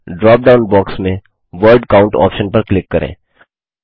अब dropdown box में word count option पर क्लिक करें